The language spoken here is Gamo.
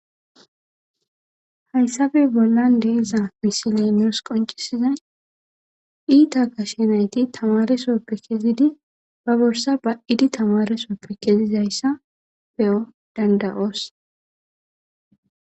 Hayssappe bollan deeza misile nus qoncisizay iita gashe nayti tamaresoppe kezidi ba borsa ba7idi tamaresooppe kezizayssa be7o danda7oos.